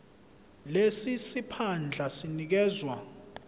lesi siphandla sinikezwa